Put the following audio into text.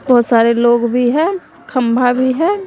बहोत सारे लोग भी हैं खंभा भी हैं।